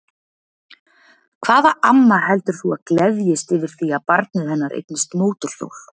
Hvaða amma heldur þú að gleðjist yfir því að barnið hennar eignist mótorhjól?